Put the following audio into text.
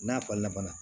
N'a falenna fana